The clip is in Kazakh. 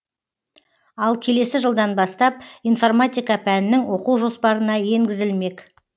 ал келесі жылдан бастап информатика пәнінің оқу жоспарына енгізілмек